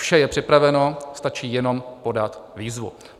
Vše je připraveno, stačí jenom podat výzvu.